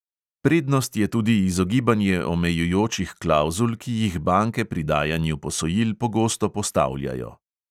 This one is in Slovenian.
Prednost je tudi izogibanje omejujočih klavzul, ki jih banke pri dajanju posojil pogosto postavljajo.